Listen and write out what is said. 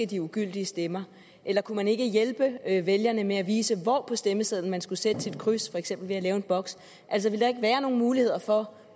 de ugyldige stemmer eller kunne man ikke hjælpe vælgerne med at vise hvor på stemmesedlen man skal sætte sit kryds for eksempel ved at lave en boks ville der ikke være nogle muligheder for